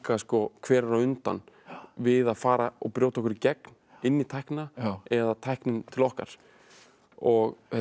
hver er á undan við að fara og brjóta okkur í gegn inn í tæknina eða tæknin til okkar og þetta er